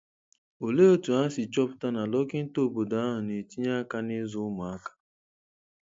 Olee otú ha si chọpụta na dọkịta obodo ahụ na-etinye aka n'ịzụ ụmụaka?